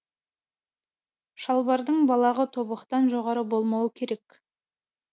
шалбардың балағы тобықтан жоғары болмауы керек